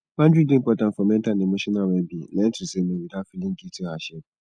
boundary dey important for mental and emotional wellbeing learn to say no without feeling guilty or ashame